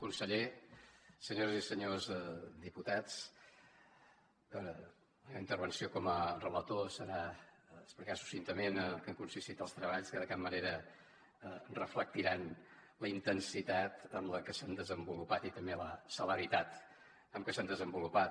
conseller senyores i senyors diputats la intervenció com a relator serà explicar succintament en què han consistit els treballs que de cap manera reflectiran la intensitat amb la que s’han desenvolupat i tampoc la celeritat amb què s’han desenvolupat